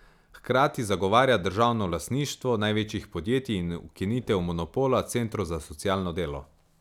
Hkrati zagovarja državno lastništvo največjih podjetij in ukinitev monopola centrov za socialno delo.